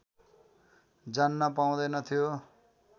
जान्न पाउँदैनथ्यो